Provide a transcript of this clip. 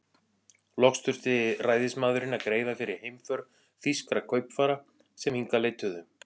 Loks þurfti ræðismaðurinn að greiða fyrir heimför þýskra kaupfara, sem hingað leituðu.